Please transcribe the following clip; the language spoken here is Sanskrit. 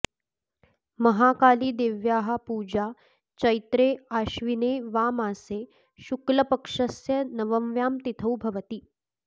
महाकालीदेव्याः पूजा चैत्रे आश्विने वा मासे शुक्लपक्षस्य नवम्यां तिथौ भवति